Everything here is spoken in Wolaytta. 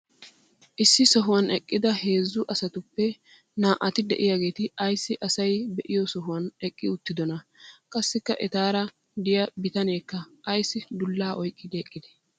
issi sohuwan eqqida heezzu asatuppe naa"ati diyaageeti ayssi asay be'iyo sohuwan eqqi uttidonaa? qassikka etaara diya bitaneekka ayssi dulaa oyqqidi eqqidee?